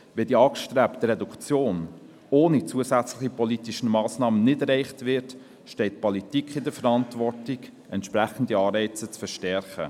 Wenn die angestrebte Reduktion ohne zusätzliche politische Massnahmen nicht erreicht wird, steht die Politik in der Verantwortung, entsprechende Anreize zu verstärken.